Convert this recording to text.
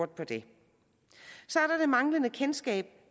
der det manglende kendskab